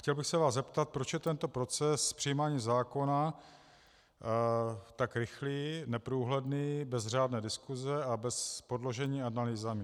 Chtěl bych se vás zeptat, proč je tento proces přijímání zákona tak rychlý, neprůhledný, bez řádné diskuse a bez podložení analýzami.